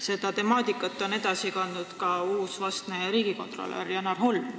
Seda mõtet on edasi kandnud ka vastne riigikontrolör Janar Holm.